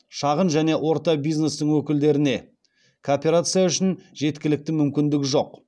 шағын және орта бизнестің өкілдерінде кооперация үшін жеткілікті мүмкіндік жоқ